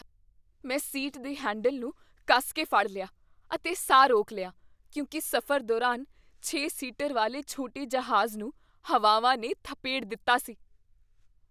ਮੈਂ ਸੀਟ ਦੇ ਹੈਂਡਲ ਨੂੰ ਕੱਸ ਕੇ ਫੜ ਲਿਆ ਅਤੇ ਸਾਹ ਰੋਕ ਲਿਆ ਕਿਉਂਕਿ ਸਫ਼ਰ ਦੌਰਾਨ ਛੇ ਸੀਟਰ ਵਾਲੇ ਛੋਟੇ ਜਹਾਜ਼ ਨੂੰ ਹਵਾਵਾਂ ਨੇ ਥਪੇੜ ਦਿੱਤਾ ਸੀ